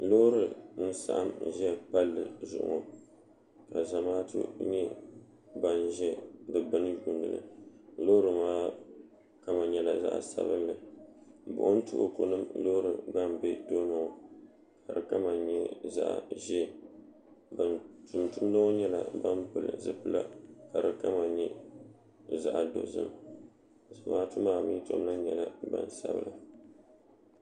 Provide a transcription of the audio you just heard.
Loori nsaɣim za palli zuɣu ka zamaatu nyɛ bani zi di gbuni yiunili loori maa kama nyɛla zaɣi sabinli buɣim tuhiku nim loori gba n bɛ tooni ŋɔ ka o kama nyɛ zaɣi ʒɛɛ tuntudiba ŋɔ nyɛla bani pili zipila ka di kama nyɛ zaɣi dozim zamaatu maa mi tom lahi nyɛla gbaŋ sabila.